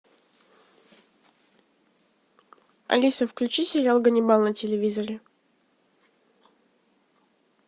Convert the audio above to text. алиса включи сериал ганнибал на телевизоре